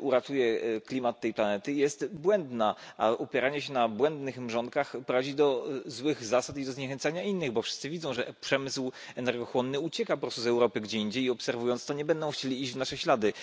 uratuje klimat tej planety, jest błędna, a opieranie się na błędnych mrzonkach prowadzi do złych zasad i zniechęcania innych, bo wszyscy widzą, że przemysł energochłonny ucieka z Europy gdzie indziej, i obserwując to, nie będą chcieli iść w nasze ślady.